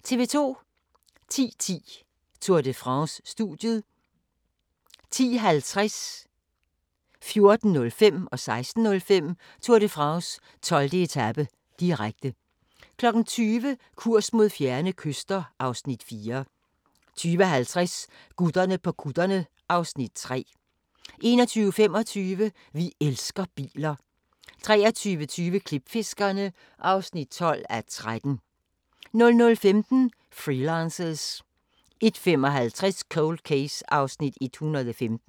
10:10: Tour de France: Studiet 10:50: Tour de France: 12. etape, direkte 14:05: Tour de France: 12. etape, direkte 16:05: Tour de France: 12. etape, direkte 20:00: Kurs mod fjerne kyster (Afs. 4) 20:50: Gutterne på kutterne (Afs. 3) 21:25: Vi elsker biler 23:20: Klipfiskerne (12:13) 00:15: Freelancers 01:55: Cold Case (115:156)